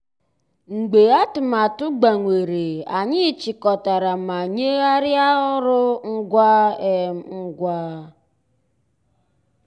mgbeé àtụ̀màtụ́ gbànwèrè ànyị́ chị́kọ̀tàrà má nyéghàríá ọ́rụ́ ngwá um ngwá.